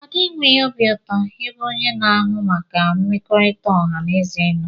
Ada enweghị obi ụtọ ebe onye na-ahụ maka mmekọrịta ọha na eze nọ.